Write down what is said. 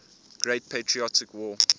great patriotic war